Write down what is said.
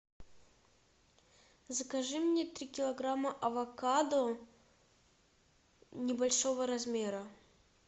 закажи мне три килограмма авокадо небольшого размера